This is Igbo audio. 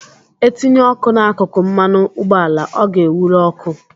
E tinye ọkụ n'akụkụ mmanụ ụgbọala ọ ga-ewụru oku